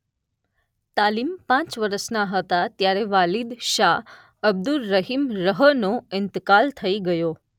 તાલીમ પાંચ વરસના હતા ત્યારે વાલિદ શાહ અબ્દુર્રહીમ રહનો ઇન્તકાલ થઈ ગયો.